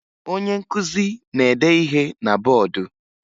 Onye nkụzi na-ede ihe na bọọdụ